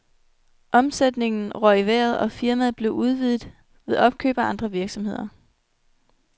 Omsætningen røg i vejret og firmaet blev udvidet ved opkøb af andre virksomheder.